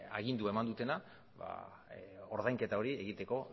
agindua eman dutena ordainketa hori egiteko